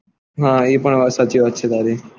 હા એ વાત સાચી વાત છે તારી